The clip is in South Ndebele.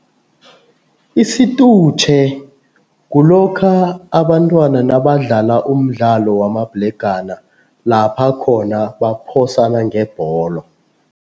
Isitutjhe kulokha abantwana nabadlala umdlalo wamabhlegana, lapha khona baphosana ngebholo.